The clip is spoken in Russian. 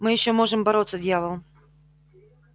мы ещё можем бороться дьявол